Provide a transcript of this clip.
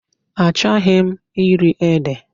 Achọghị m iri ede.